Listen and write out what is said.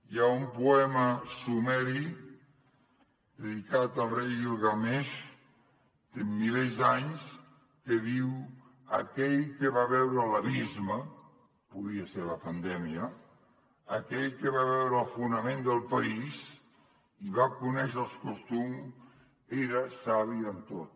hi ha un poema sumeri dedicat al rei guilgameix té milers d’anys que diu aquell que va veure l’abisme podria ser la pandèmia aquell que va veure el fonament del país i va conèixer els costums era savi en tot